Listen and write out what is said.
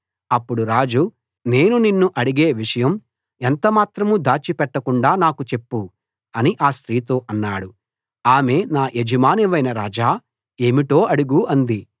అప్పుడు రాజు నేను నిన్ను అడిగే విషయం ఎంతమాత్రం దాచిపెట్టకుండా నాకు చెప్పు అని ఆ స్త్రీతో అన్నాడు ఆమె నా యజమానివైన రాజా ఏమిటో అడుగు అంది